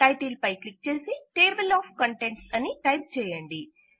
title పై click చేసి table of కంటెంట్స్అని టైప్ చేయండి